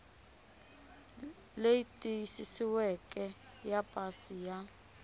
leyi tiyisisiweke ya pasi ya